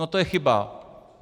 No to je chyba.